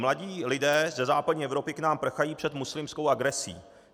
Mladí lidé ze západní Evropy k nám prchají před muslimskou agresí.